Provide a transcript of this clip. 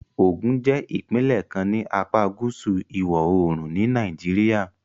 Ogun jẹ́ ìpínlẹ̀ kan ní apá gúúsù ìwọ̀-oòrùn ni Nàìjíríà